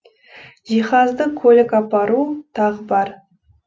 жиһазды көлік апару тағы бар